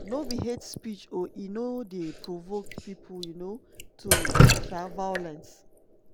no be hate speech or e no dey provoke pipo um to um violence.